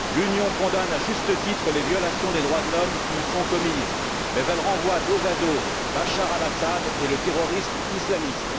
L'Union condamne, à juste titre, les violations des droits de l'homme qui y sont commises, mais elle renvoie dos à dos Bachar el Assad et le terrorisme islamiste.